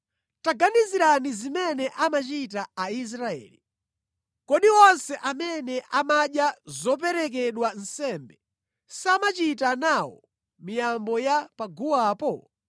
Taganizirani zimene amachita Aisraeli. Kodi onse amene amadya zoperekedwa nsembe, samachita nawo miyambo ya pa guwapo?